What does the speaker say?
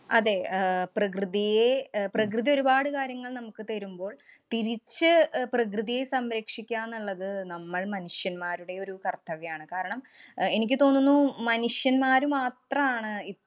അതേ. അഹ് പ്രകൃതിയെ അഹ് പ്രകൃതി ഒരുപാട് കാര്യങ്ങള്‍ നമുക്ക് തരുമ്പോള്‍ തിരിച്ചു അഹ് പ്രകൃതിയെ സംരക്ഷിക്കുകാന്നുള്ളത് നമ്മള്‍ മനുഷ്യന്മാരുടെ ഒരു കര്‍ത്തവ്യാണ്. കാരണം, അഹ് എനിക്ക് തോന്നുന്നു മനുഷ്യന്മാര് മാത്രാണ് ഇപ്~